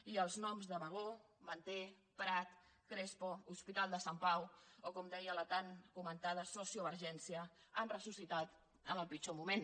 i els noms de bagó manté prat crespo hospital de sant pau o com deia la tan comentada sociovergència han ressuscitat en el pitjor moment